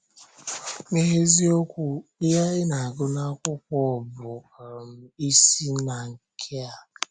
N’eziokwu, ihe anyị na-agụ n’akwụkwọ bụ um isi na nke a.